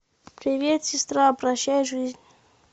привет сестра прощай жизнь